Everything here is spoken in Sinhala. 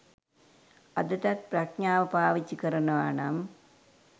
අදටත් ප්‍රඥාව පාවිච්චි කරනවා නම්